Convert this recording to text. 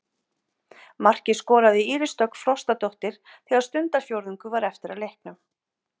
Markið skoraði Íris Dögg Frostadóttir þegar stundarfjórðungur var eftir af leiknum.